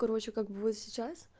короче как бы вот сейчас